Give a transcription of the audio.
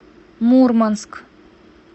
мурманск